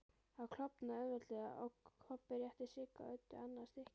Hann klofnaði auðveldlega og Kobbi rétti Sigga Öddu annað stykkið.